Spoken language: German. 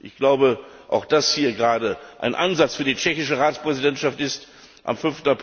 Ich glaube auch, dass das ein Ansatz für die tschechische Ratspräsidentschaft ist, am